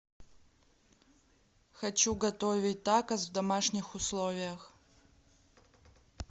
хочу готовить такос в домашних условиях